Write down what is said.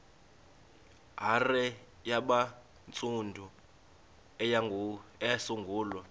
hare yabantsundu eyasungulwa